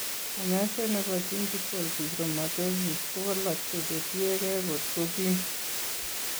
Kany'aaseet ne po gingival fibromatosis ko walakse jo tiyekeey kot ko kiim.